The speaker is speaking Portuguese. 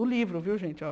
O livro, viu, gente? Ó